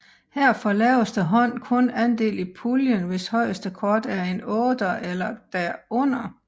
Her får laveste hånd kun andel i puljen hvis højeste kort er en otter eller derunder